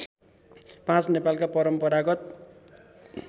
५ नेपालका परम्परागत